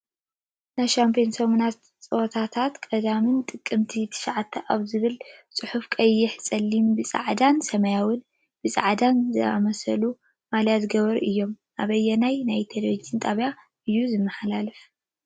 ናይ ሻምናይ ሰሙን ፀወታታት ቅዳምን ጥቅምት 09 ኣብ ዝብል ፅሕፉ ቀይሕ ፀሊም ብፃዕዳን ሰማያዊ ብፃዕዳን ዝኣመሳሳሉ ማልያ ዝገበሩ እዮም። ኣበየናይ ናይ ቴሌቭን ጣብያ እዩ ተማሓላሊፉ?